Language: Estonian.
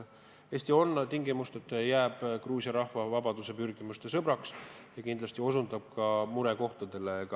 Eesti on tingimusteta Gruusia rahva vabaduspürgimuste toetaja ja kindlasti osutab ka murekohtadele.